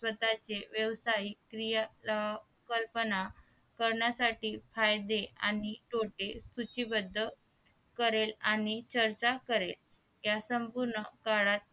स्वतःचे व्यवसाय क्रिया कल्पना करण्यासाठी फायदे आणि तोटे सूचीबद्ध करेल आणि चर्चा करेल या संपूर्ण